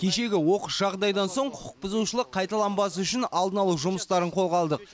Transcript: кешегі оқыс жағдайдан соң құқықбұзушылық қайталанбас үшін алдын алу жұмыстарын қолға алдық